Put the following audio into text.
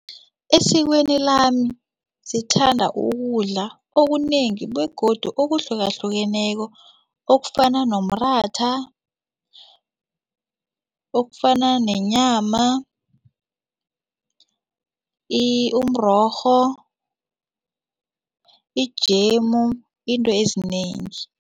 Esikweni lami sithanda ukudla okunengi begodu okuhlukahlukeneko okufana nomratha okufana nenyama, umrorho ijemu into ezinengi.